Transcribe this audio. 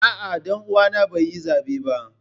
A'a, danuwa na bai yi zabe ba.